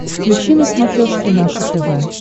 включи на смотрешке наше тв